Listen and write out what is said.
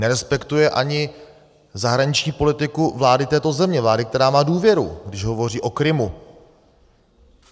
Nerespektuje ani zahraniční politiku vlády této země, vlády, která má důvěru, když hovoří o Krymu.